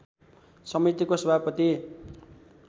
समितिको सभापति